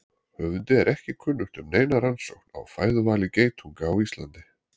Höfundi er ekki kunnugt um neina rannsókn á fæðuvali geitunga á Íslandi.